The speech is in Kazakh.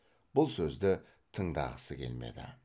бұл сөзді тыңдағысы келмеді